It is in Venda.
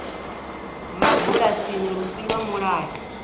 mabulasini lu si lwa mulayo